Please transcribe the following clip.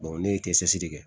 ne ye kɛsi de kɛ